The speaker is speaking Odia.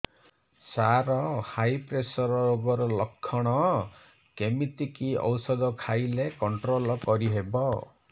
ସାର ହାଇ ପ୍ରେସର ରୋଗର ଲଖଣ କେମିତି କି ଓଷଧ ଖାଇଲେ କଂଟ୍ରୋଲ କରିହେବ